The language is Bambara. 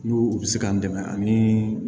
N'u u bɛ se k'an dɛmɛ ani